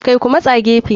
Kai Ku matsa gefe.